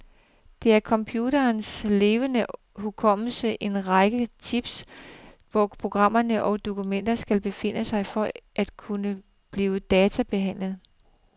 Det er computerens levende hukommelse, en række chips, hvor programmer og dokumenter skal befinde sig for at kunne blive databehandlet.